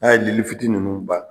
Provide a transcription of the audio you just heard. N'a ye lili fitinin ninnu ban